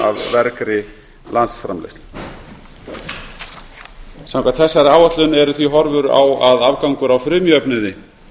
vergri landsframleiðslu samkvæmt þessari áætlun eru því horfur á að afgangur á frumjöfnuði